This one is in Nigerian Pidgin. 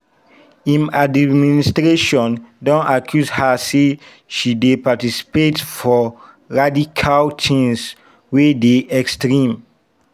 im administration don accuse her say she dey participate for radical things wey dey extreme.